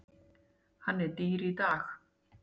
Hann er dýr í dag.